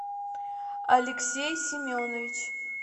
алексей семенович